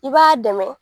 I b'a dɛmɛ